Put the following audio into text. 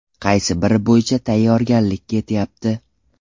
Qaysi biri bo‘yicha tayyorgarlik ketyapti?